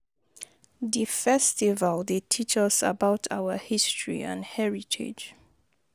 Di festival dey teach us about our history and heritage.